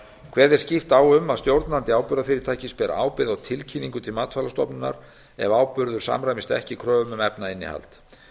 kveðið er skýrt á um að stjórnandi áburðgarfyrritækis beri ábyrgð á tilkynningu til matvælastofnunar ef áburður samræmist ekki kröfum um efnainnihald